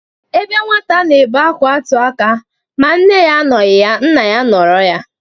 Ebe nwata na-ebe akwa atụ aka, ma nne ya anọghị ya, nna ya anọrọ ya.